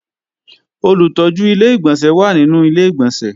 Olùtọ́jú Ilé-ìgbọ̀nsẹ̀ wà nínú Ilé-ìgbọ̀nsẹ̀